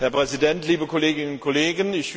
Herr Präsident, liebe Kolleginnen und Kollegen!